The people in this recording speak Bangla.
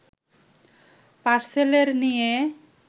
পার্সেলের নিয়ে